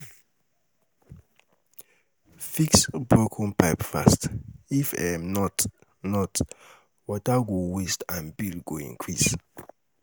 Fix broken pipe fast, if um not, not, water go waste and bill go increase.